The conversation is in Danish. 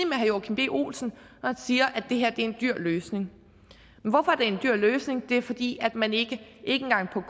med herre joachim b olsen når siger at det her er en dyr løsning hvorfor er det en dyr løsning det er fordi man ikke engang på